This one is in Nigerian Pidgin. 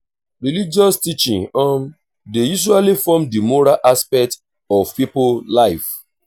religious teaching um dey usually form di moral aspect of pipo life